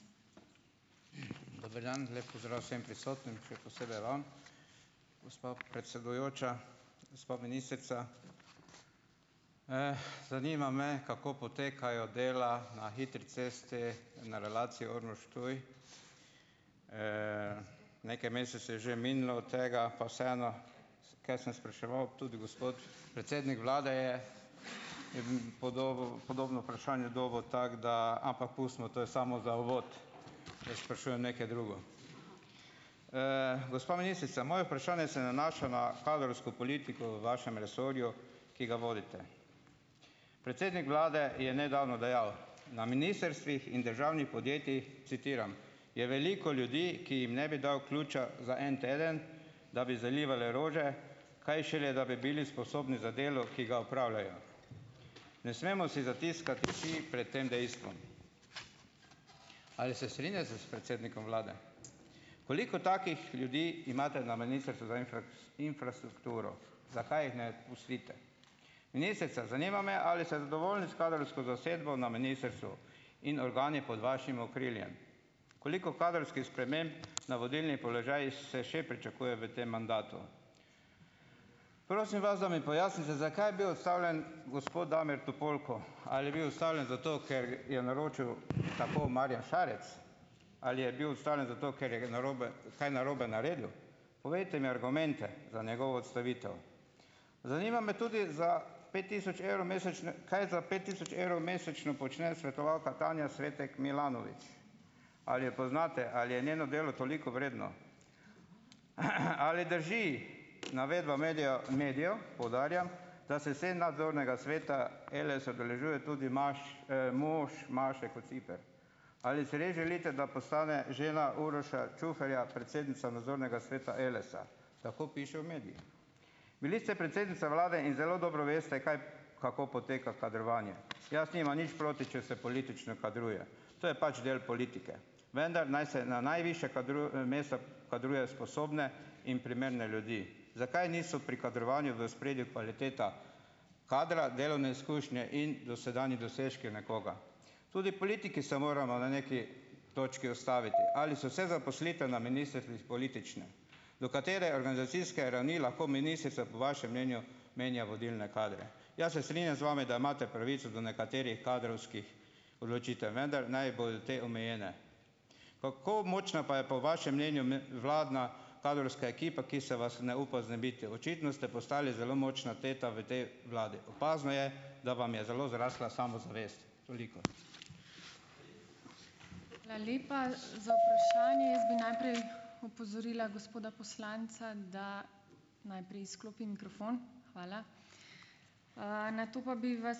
Dober dan. Lep pozdrav vsem prisotnim, še posebej vam, gospa predsedujoča, gospa ministrica. Zanima me, kako potekajo dela na hitri cesti na relaciji Ormož-Ptuj? Nekaj mesecev je že minilo od tega, pa vseeno, kaj sem spraševal, tudi gospod, predsednik vlade je podobno vprašanje dobil, tako da ... ampak pustimo, to je samo za uvod ... Jaz sprašujem nekaj drugega. Gospa ministrica, moje vprašanje se nanaša na kadrovsko politiko v vašem resorju, ki ga vodite. Predsednik vlade je nedavno dejal, na ministrstvih in državnih podjetjih, citiram: "Je veliko ljudi, ki jim ne bi dal ključa za en teden, da bi zalival rože, kaj šele, da bi bili sposobni za delo, ki ga opravljajo." Ne smemo si zatiskati oči pred tem dejstvom. Ali se strinjate s predsednikom vlade? Koliko takih ljudi imate na Ministrstvu za infrastrukturo? Zakaj jih ne pustite? Ministrica, zanima me, ali ste zadovoljni s kadrovsko zasedbo na ministrstvu in organi pod vašim okriljem? Koliko kadrovskih sprememb na vodilni položaj se še pričakuje v tem mandatu? Prosim vas, da mi pojasnite, zakaj je bil odstavljen gospo Damir Topolko? Ali je bil odstavljen zato, ker je naročil tako Marjan Šarec? Ali je bil odstavljen zato, ker je narobe, kaj narobe naredil? Povejte mi argumente za njegovo odstavitev? Zanima me tudi, za pet tisoč evrov mesečno, kaj za pet tisoč evrov mesečno počne svetovalka Tanja Svetek Milanovič? Ali jo poznate, ali je njeno delo toliko vredno? Ali drži navedba medijev, poudarjam, da se saj nadzornega sveta Eles udeležuje tudi mož Maše Kociper? Ali si res želite, da postane žena Uroša Čuferja predsednica nadzornega sveta Elesa? Tako piše v medijih. Bili ste predsednica vlade in zelo dobro veste, kaj kako poteka kadrovanje. Jaz nimam nič proti, če se politično kadruje, to je pač del politike. Vendar naj se na najvišja mesta kadruje sposobne in primerne ljudi. Zakaj niso pri kadrovanju v ospredju kvaliteta kadra, delovne izkušnje in dosedanji dosežki nekoga? Tudi politiki se moramo na nekaj točki ustaviti. Ali so se zaposlitve na ministrstvih politične? Do katere organizacijske rani lahko ministrica po vašem mnenju menja vodilne kadre? Ja, se strinjam z vami, da imate pravico do nekaterih kadrovskih odločitev, vendar naj bodo te omejene. Kako močna pa je po vašem mnenju vladna kadrovska ekipa, ki se vas ne upa znebiti? Očitno ste postali zelo močna teta v tej vladi. Opazno je, da vam je zelo zrasla samozavest. Toliko.